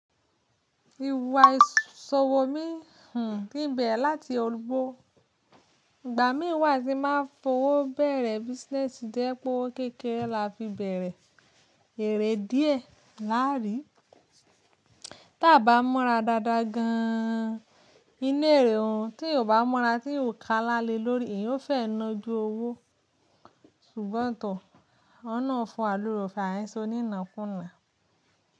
Ìwà ìṣòwò mi hùn kín bẹrẹ láti òrúbó. Ìgbà mí wá tin bàa ń fowó bẹ̀rẹ̀ business, tó jẹ́ pé ó kékeré la fi bẹ̀rẹ̀. Eré díè láàrí, tí a bá mọ́ra dáadáa gan an, inú eré òún, tí èèyàn bá mọ́ra tí èèyàn kálá le lórí, e yóò fẹ́ ná ju owó. Ṣùgbọ́n tọ, Ọlọ́run fún lóóre ọfẹ àìsò ni nà kúnà.